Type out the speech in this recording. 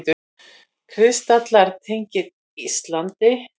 Kristallar tengdir Íslandi